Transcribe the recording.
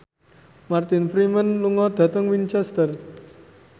Martin Freeman lunga dhateng Winchester